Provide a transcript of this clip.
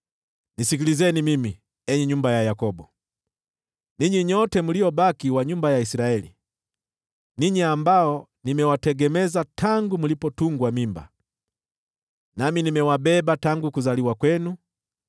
“Nisikilizeni mimi, ee nyumba ya Yakobo, ninyi nyote mliobaki wa nyumba ya Israeli, ninyi ambao nimewategemeza tangu mlipotungwa mimba, nami nimewabeba tangu kuzaliwa kwenu.